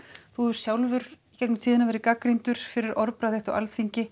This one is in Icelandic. þú hefur sjálfur verið gagnrýndur fyrir orðbragð þitt á Alþingi